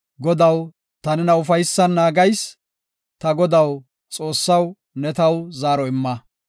Godaw, ta nena ufaysan naagayis; ta Godaw, Xoossaw ne taw zaaro imma.